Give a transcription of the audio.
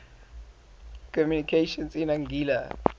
communications in anguilla